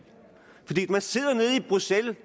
bruxelles vil